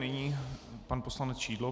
Nyní pan poslanec Šidlo.